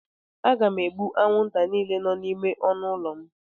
Aga m egbu anwụnta niile nọ n'ime ọnụ ụlọ m.